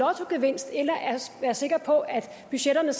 være sikker på at budgetterne